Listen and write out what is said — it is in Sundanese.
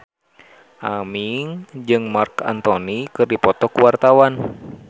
Aming jeung Marc Anthony keur dipoto ku wartawan